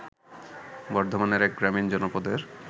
বর্ধমানের এক গ্রামীণ জনপদের